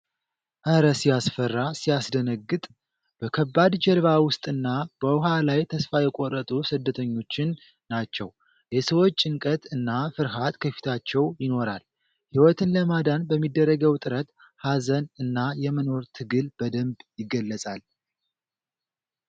"ኧረ ሲያስፈራ! ሲያስደነግጥ!" በከባድ ጀልባ ውስጥና በውሃ ላይ ተስፋ የቆረጡ ስደተኞችን ናቸው። የሰዎች ጭንቀት እና ፍርሃት ከፊታቸው ይኖራል። ህይወትን ለማዳን በሚደረገው ጥረት፣ ሀዘን እና የመኖር ትግል በደንብ ይገለፃል።